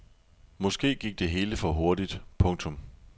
Måske gik det hele for hurtigt. punktum